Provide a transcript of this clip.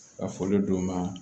Ka foli d'u ma